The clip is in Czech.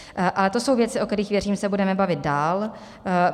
Ale to jsou věci, o kterých, věřím, se budeme bavit dál.